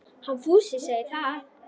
Hann Fúsi segir það.